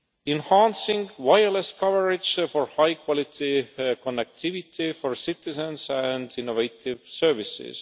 enhancing wireless coverage for high quality connectivity for citizens and innovative services